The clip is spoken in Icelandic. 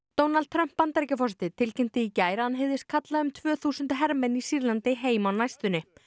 Donald Trump Bandaríkjaforseti tilkynnti í gær að hann hygðist kalla um tvö þúsund hermenn í Sýrlandi heim á næstunni